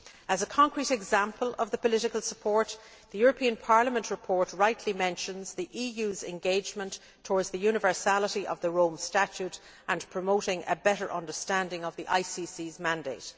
As a concrete example of the political support, the European Parliament report rightly mentions the EU's engagement towards the universality of the Rome Statute and promoting a better understanding of the ICC's mandate.